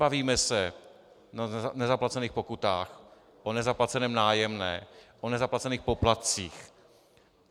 Bavíme se o nezaplacených pokutách, o nezaplaceném nájemném, o nezaplacených poplatcích.